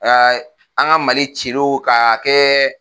an ka Mali cilo k'a kɛ